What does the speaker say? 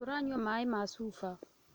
Tũranyua maĩ ma cuba